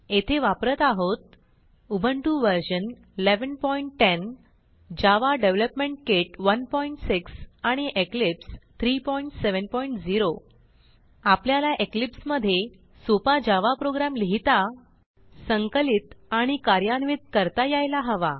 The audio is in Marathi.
येथे वापरत आहोत Ubuntu version 1110 Java development kit 16 आणि इक्लिप्स 370 आपल्याला इक्लिप्स मधे सोपा जावा प्रोग्रॅम लिहिता संकलित आणि कार्यान्वित करता यायला हवा